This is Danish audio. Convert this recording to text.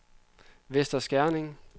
Vester Skerning